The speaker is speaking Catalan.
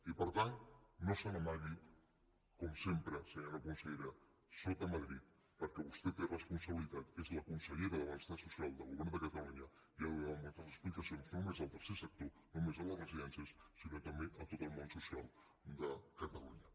i per tant no se n’amagui com sempre senyora consellera sota madrid perquè vostè té responsabilitat és la consellera de benestar social del govern de cata lunya i ha de donar moltes explicacions no només al tercer sector no només a les residències sinó també a tot el món social de catalunya